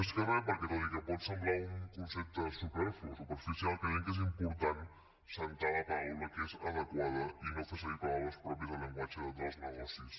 més que re perquè tot i que pot semblar un concepte superficial creiem que és important assentar la paraula que és adequada i no fer servir paraules pròpies del llenguatge dels negocis